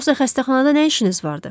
Yoxsa xəstəxanada nə işiniz vardı?